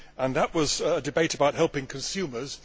That was a debate about helping consumers